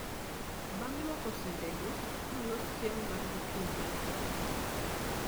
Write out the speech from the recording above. Bang' luoko sende go, nolos chiemo mar gokinyi mane otingo,